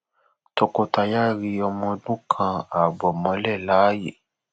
tọkọtaya ri ọmọ ọdún kan ààbọ mọlẹ láàyè